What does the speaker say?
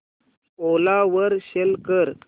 ओला वर सेल कर